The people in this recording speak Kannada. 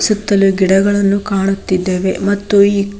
ಸುತ್ತಲೂ ಗಿಡಗಳನ್ನು ಕಾಣುತ್ತಿದ್ದಾವೆ ಮತ್ತು ಇಲ್ಲಿ.